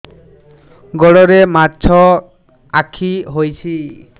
ଗୋଡ଼ରେ ମାଛଆଖି ହୋଇଛି